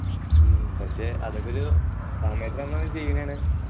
ഉം പക്ഷെ അതൊക്കെ ഒരു അങ്ങനെയൊന്ന് ചെയ്യുന്നതാണ്